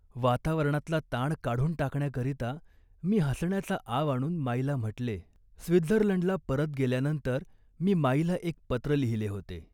वातावरणातला ताण काढून टाकण्याकरिता मी हसण्याचा आव आणून माईला म्हटले,. स्वित्झर्लंडला परत गेल्यानंतर मी माईला एक पत्र लिहिले होते